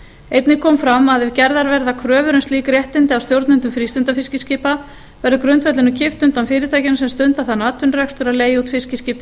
einnig kom fram að ef gerðar verða kröfur um slík réttindi af stjórnendum frístundafiskiskipa verður grundvellinum kippt undan fyrirtækjum sem stunda þann atvinnurekstur að leigja út fiskiskip til